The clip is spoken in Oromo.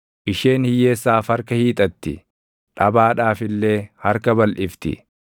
Isheen hiyyeessaaf harka hiixatti; dhabaadhaaf illee harka balʼifti.